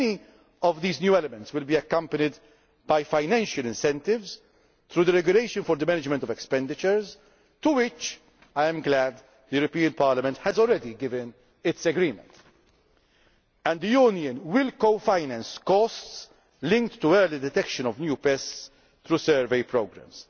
measures. Many of these new elements will be accompanied by financial incentives through the regulation for the management of expenditures, to which I am glad the European Parliament has already given its agreement. The Union will co finance costs linked to the early detection of new pests through survey